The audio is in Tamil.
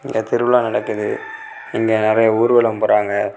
இங்க திருவிழா நடக்குது இங்க நறைய ஊர்வலம் போறாங்க.